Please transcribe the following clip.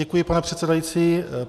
Děkuji, pane předsedající.